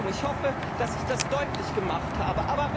Ich hoffe, dass ich das deutlich gemacht